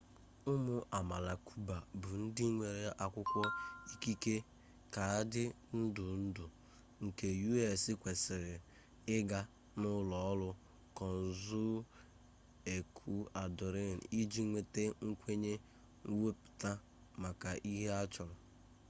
ụmụ amaala cuba bụ ndị nwere akwụkwọ ikike kaadị ndụ ndụ nke us kwesịrị ịga n'ụlọ ọrụ consul ecuadorian iji nweta nkwenye mwepụ maka ihe a chọrọ